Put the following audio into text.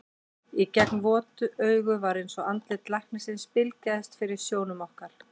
Í gegnum vot augun var eins og andlit læknisins bylgjaðist fyrir sjónum okkar.